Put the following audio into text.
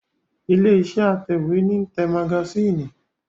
Ilé iṣẹ́ atẹ̀wẹ́tà ní ń tẹ magasínì